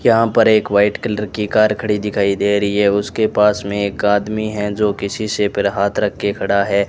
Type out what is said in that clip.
यहां पर एक वाइट कलर की कार खड़ी दिखाई दे रही है उसके पास में एक आदमी है जो किसी से पर हाथ रख के खड़ा है।